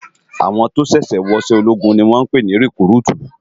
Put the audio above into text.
Áwòn tó ṣèṣè wò iṣè ólógún ni wòn pè ni rekúrútú